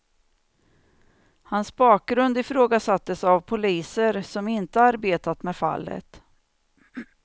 Hans bakgrund ifrågasattes av poliser som inte arbetat med fallet.